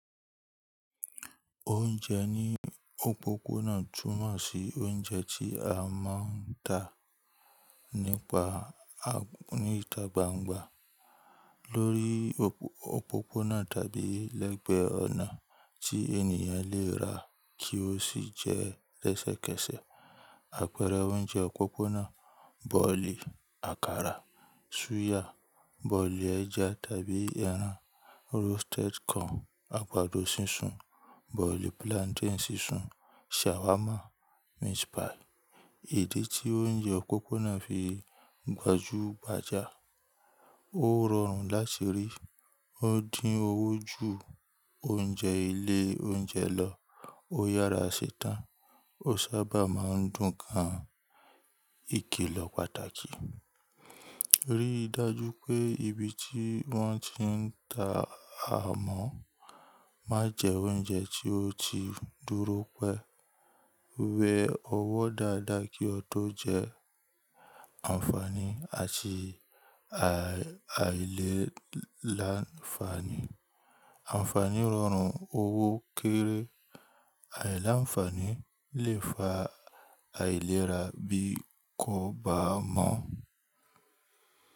Oúnjẹ ní òpópónà túmọ̀ sí oúnjẹ tí a máa ń tà níta gbangba lórí òpópónà tàbí lẹ́gbẹ́ ọ̀nà tí ènìyàn lè rà kí ó sì jẹ́ lẹ́sẹ̀kẹsẹ̀. Àpẹẹrẹ oúnjẹ òpópónà bọ̀lì, àkàrà, súyà, bọ̀lì ẹja tàbí ẹran, roasted corn, àgbàdo sísun, bọ̀lì plantain sísun, shawarma, meat pie. Idi tí oúnjẹ òpópónà fi gbajúgbajà. Ó rọrùn láti rí, ó dín owó ju oúnjẹ ilé oúnjẹ lọ, ó yàrá ṣe tán, ó sábà máa ń dùn gan-an. Ikilọ̀ pàtàkì: rí i dájú pé ibi tí wọ́n ti ń tà á mọ̀. Má jẹ oúnjẹ tí ó ti dúró pẹ́. Wẹ ọwọ́ dáadáa kí o tó jẹ. Ànfààní àti aìlèlanafaani. Ànfààní rọrùn, owó kéré, aìlanfaani lè fa àìlera bí ko bá mọ̀.